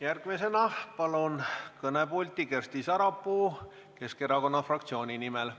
Järgmisena palun kõnepulti Kersti Sarapuu Keskerakonna fraktsiooni nimel.